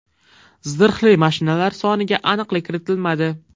Zirhli mashinalar soniga aniqlik kiritilmadi.